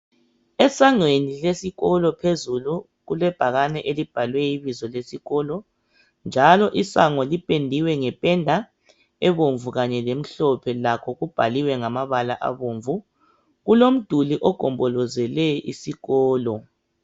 Esangweni lesikolo phezulu kulebhakani elibhalwe ibizo lesikolo njalo isango lipendiwe ngependa ebomvu lemhophe lakho kubhaliwe ngamabala abomvu kulomduli ogombolozele isikolo